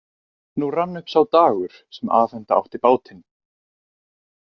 Nú rann upp sá dagur sem afhenda átti bátinn.